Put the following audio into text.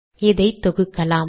இதை தொகுக்கலாம்